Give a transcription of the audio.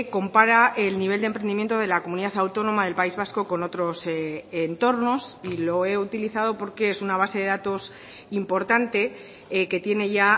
compara el nivel de emprendimiento de la comunidad autónoma del país vasco con otros entornos y lo he utilizado porque es una a base de datos importante que tiene ya